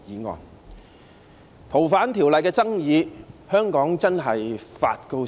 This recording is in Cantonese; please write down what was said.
從《逃犯條例》的爭議可見，香港真的發高燒。